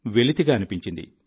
వెలితిగా అనిపించింది